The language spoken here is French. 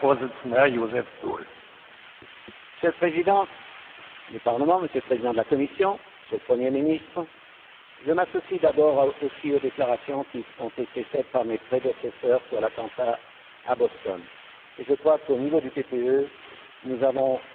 Monsieur le Président du Parlement, Monsieur le Président de la Commission, Monsieur le Premier ministre, je m'associe d'abord, aussi, aux déclarations qui ont été faites par mes prédécesseurs sur l'attentat à Boston et je crois qu'au niveau du groupe PPE, nous avons la volonté et la force de combattre